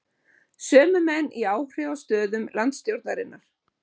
Sömu menn í áhrifastöðum landsstjórnarinnar?